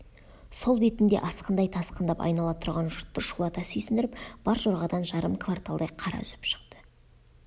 сол бетінде асқындай тасқындап айнала тұрған жұртты шулата сүйсіндіріп бар жорғадан жарым кварталдай қара үзіп шықты